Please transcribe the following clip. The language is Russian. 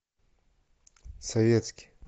советский